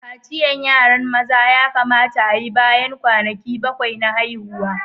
Kaciyan yaran maza ya kamata a'yi bayan kwanaki bakwai na haihuwa.